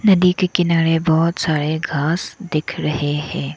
नदी के किनारे बहुत सारे घास दिख रहे हैं।